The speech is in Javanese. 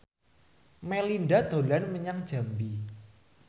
Melinda dolan menyang Jambi